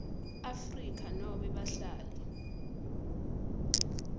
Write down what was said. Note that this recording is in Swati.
afrika nobe bahlali